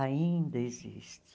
Ainda existe.